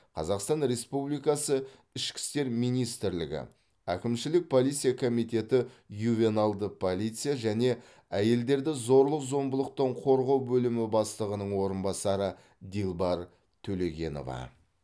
қазақстан республикасы ішкі істер министрлігі әкімшілік полиция комитеті ювеналды полиция және әйелдерді зорлық зомбылықтан қорғау бөлімі бастығының орынбасары дилбар төлегенова